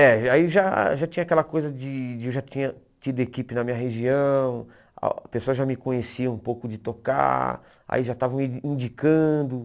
É, aí já já tinha aquela coisa de de eu já tinha tido equipe na minha região, a pessoa já me conhecia um pouco de tocar, aí já estavam me indicando.